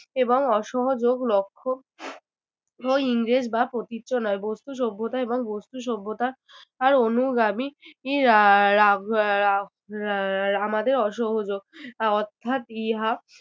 এবং অসহযোগ লক্ষ্য ইংরেজ বা নয় বস্তু সভ্যতা এবং বস্তু সভ্যতা আর অনুগামী আহ রা~ রা~ আমাদের অসহযোগ অর্থাৎ ইহা